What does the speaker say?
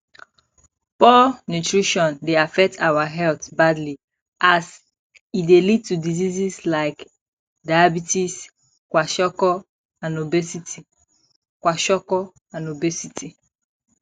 poor nutirition dey affect our health badly as e dey lead to diseases like diabetes kwasokor and obesity kwasokor and obesity